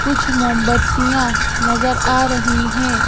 कुछ मोमबत्तियां नजर आ रही हैं।